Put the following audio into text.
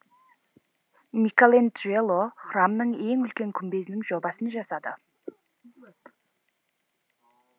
микеланджело храмның ең үлкен күмбезінің жобасын жасады